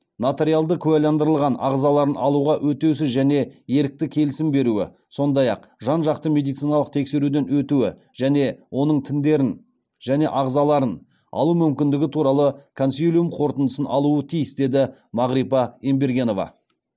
нотариалды куәландырылған ағзаларын алуға өтеусіз және ерікті келісім беруі сондай ақ жан жақты медициналық тексеруден өтуі және оның тіндерін және ағзаларын алу мүмкіндігі туралы консилиум қорытындысын алуы тиіс деді мағрипа ембергенова